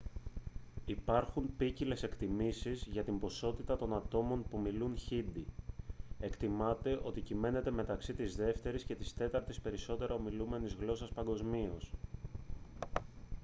υπάρχουν ποικίλες εκτιμήσεις για την ποσότητα των ατόμων που μιλούν χίντι εκτιμάται ότι κυμαίνεται μεταξύ της δεύτερης και της τέταρτης περισσότερο ομιλούμενης γλώσσας παγκοσμίως